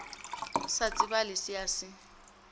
sa tsebale se a se